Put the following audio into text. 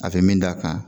A tɛ min d'a kan